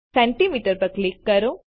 centimetre પર click કરો